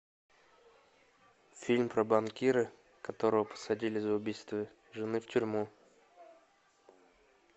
фильм про банкира которого посадили за убийство жены в тюрьму